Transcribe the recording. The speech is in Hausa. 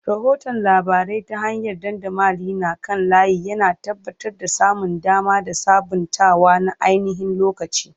Rahoton labarai ta hanyar dandamali na kan layi, yana tabbatar da samun dama da sabuntawa na ainihin-lokaci.